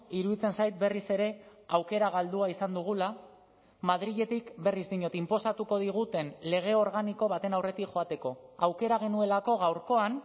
iruditzen zait berriz ere aukera galdua izan dugula madriletik berriz diot inposatuko diguten lege organiko baten aurretik joateko aukera genuelako gaurkoan